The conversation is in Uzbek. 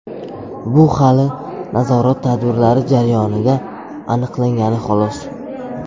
Bu hali nazorat tadbirlari jarayonida aniqlangani, xolos.